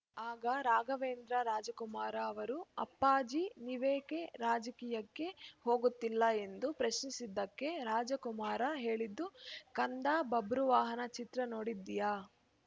ಆಗ ರಾಘವೇಂದ್ರ ರಾಜಕುಮಾರ್‌ ಅವರು ಅಪ್ಪಾಜೀ ನೀವೇಕೆ ರಾಜಕೀಯಕ್ಕೆ ಹೋಗುತ್ತಿಲ್ಲ ಎಂದು ಪ್ರಶ್ನಿಸಿದ್ದಕ್ಕೆ ರಾಜಕುಮಾರ್‌ ಹೇಳಿದ್ದು ಕಂದಾ ಬಬ್ರುವಾಹನ ಚಿತ್ರ ನೋಡಿದ್ದೀಯಾ